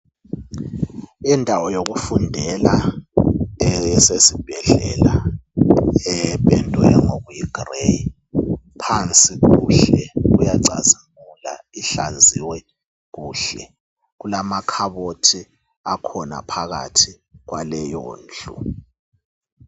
Indawo yokufundela esesibhedlela ependwe ngokuyi grey phansi kuhle kuyacazimula ihlanziwe kuhle. Kulama khabothi akhona phakathi kwaleyo ndlu.